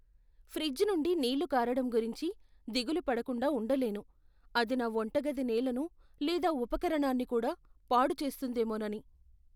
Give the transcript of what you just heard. Fridge నుండి నీళ్ళు కారడం గురించి దిగులు పడకుండా ఉండలేను, అది నా వంటగది నేలను లేదా ఉపకరణాన్ని కూడా పాడు చేస్తుందేమోనని?